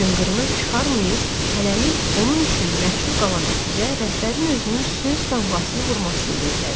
Cınqırını çıxarmayıb hələlik onun üçün məchul qalan öküzə rəhbərin özünün söz damğasını vurmasını gözlədi.